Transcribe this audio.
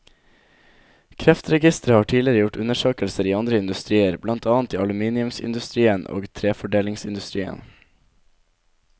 Kreftregisteret har tidligere gjort undersøkelser i andre industrier, blant annet i aluminiumsindustrien og treforedlingsindustrien.